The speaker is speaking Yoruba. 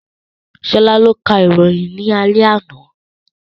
Sola ló ka ìròyìn ní alẹ́ àná